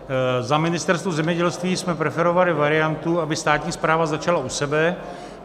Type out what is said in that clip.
Za Ministerstvo zemědělství jsme preferovali variantu, aby státní správa začala u sebe.